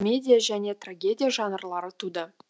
медия және трагедия жанрлары туды